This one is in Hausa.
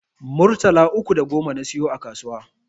Murtala uku da goma na siyo a kasuwa